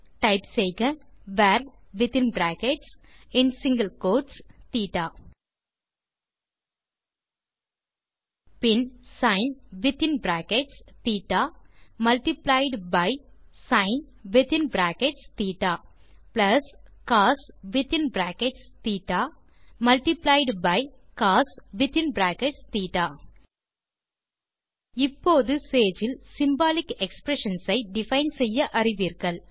type செய்க var within brackets மற்றும் single quotes theta பின் sine within brackets theta multiplied by sine within brackets theta plus cos within brackets theta multiplied by cos within brackets theta இப்போது Sage இல் symbolic expressions ஐ define செய்ய அறிவீர்கள்